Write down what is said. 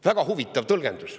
Väga huvitav tõlgendus.